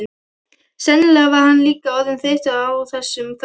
Sennilega var hann líka orðinn þreyttur á þessum þvælingi.